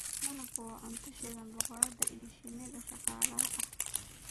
Malabku waa cunto shinida boqorada iyo shinnida shaqaalaha ah.